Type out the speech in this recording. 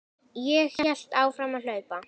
Ég hélt áfram að hlaupa.